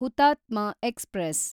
ಹುತಾತ್ಮ ಎಕ್ಸ್‌ಪ್ರೆಸ್